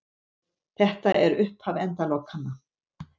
Þetta er upphaf endalokanna